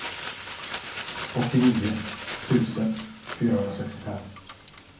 åttionio tusen fyrahundrasextiofem